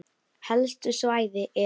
Helstu svæði eru